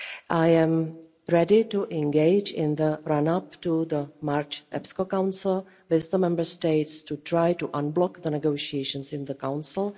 I am ready to engage, in the run-up to the March EPSCO Council, with the Member States to try to unblock the negotiations in the Council.